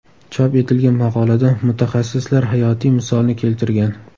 Chop etilgan maqolada mutaxassislar hayotiy misolni keltirgan.